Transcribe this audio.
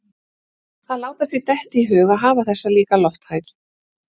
Að láta sér detta í hug að hafa þessa líka lofthæð